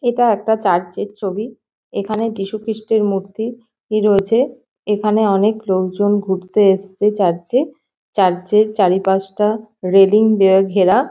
এটা একটা চার্চ -এর ছবি। এখানে যিশুখ্রিস্টের মূর্তি রয়েছে। এখানে অনেক লোকজন ঘুরতে এসছে চার্চ -এ। চার্চ -এর চারিপাশটা রেলিং দিয়ে ঘেরা।